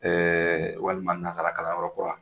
walima nanzara kalan yɔrɔ kura